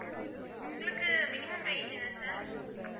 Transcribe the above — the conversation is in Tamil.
உங்களுக்கு minimum range என்ன sir?